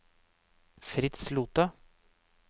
Fritz Lothe